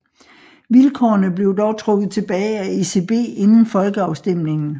Vilkårene blev dog trukket tilbage af ECB inden folkeafstemningen